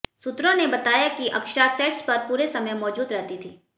सूत्रों ने बताया कि अक्षरा सेट्स पर पूरे समय मौजूद रहती थीं